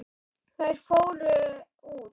Þær fóru út.